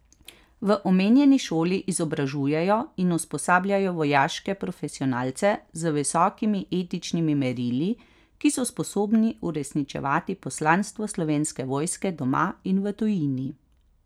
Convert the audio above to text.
V omenjeni šoli izobražujejo in usposabljajo vojaške profesionalce z visokimi etičnimi merili, ki so sposobni uresničevati poslanstvo Slovenske vojske doma in v tujini.